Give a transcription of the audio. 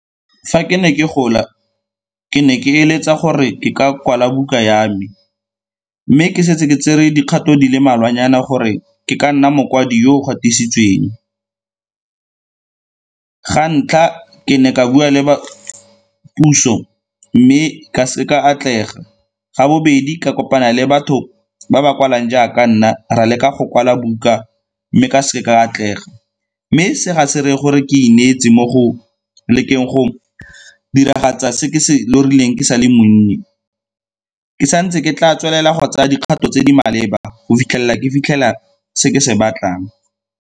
Fa ke ne ke gola, ke ne ke eletsa gore ke ka kwala buka ya me mme ke setse ke tsere dikgato di le mmalwanyana gore ke ka nna mokwadi yo o gatisitsweng. Ga ntlha, ke ne ka bua le ba puso mme ka seka ka atlega. Ga bobedi ka kopana le batho ba ba kwalang jaaka nna ra leka go kwala buka, mme ka seke ka atlega. Mme se ga se reye gore ke ineetse mo go lekeng go diragatsa se ke se lorileng ke sa le monnye, ke sa ntse ke tla tswelela go tsaya dikgato tse di maleba go fitlhelela ke fitlhela se ke se batlang.